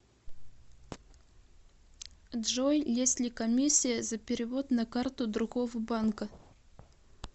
джой есть ли комиссия за перевод на карту другого банка